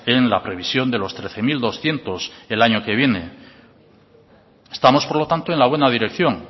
en la previsión de los trece mil doscientos el año que viene estamos por lo tanto en la buena dirección